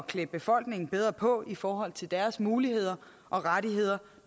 klæde befolkningen bedre på i forhold til deres muligheder og rettigheder